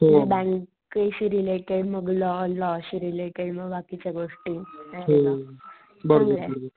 Bank शी related मग law law शी रिलेटेड मग बाकीच्या गोष्टी नाहीका .